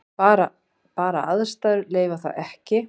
Bara aðstæður leyfa það ekki.